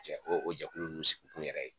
Jɛ o jɛkulu ninnu sigi kun yɛrɛ ye